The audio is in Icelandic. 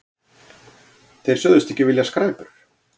Þeir sögðust ekki vilja skræpur.